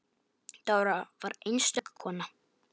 Dóra var einstök kona.